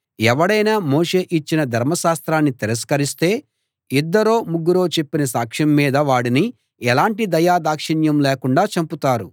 ఎవడైనా మోషే ఇచ్చిన ధర్మశాస్త్రాన్ని తిరస్కరిస్తే ఇద్దరో ముగ్గురో చెప్పిన సాక్ష్యం మీద వాడిని ఎలాంటి దయాదాక్షిణ్యం లేకుండా చంపుతారు